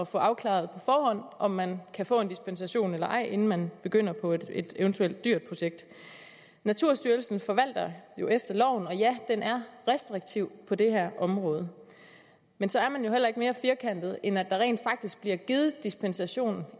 få afklaret på forhånd om man kan få dispensation eller ej inden man begynder på et eventuelt dyrt projekt naturstyrelsen forvalter jo efter loven og ja den er restriktiv på det her område men så er man jo heller ikke mere firkantet end at der rent faktisk bliver givet dispensation